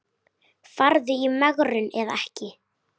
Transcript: Farðu í megrun eða ekki.